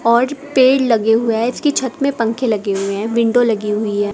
पेड़ लगे हुए हैं इसकी छत में पंखे लगे हुए हैं विंडो लगी हुई है।